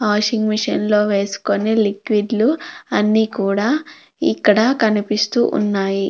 Washing machine లో వేసుకుని లిక్విడ్లు అన్నీ కూడా ఇక్కడ కనిపిస్తూ ఉన్నాయి.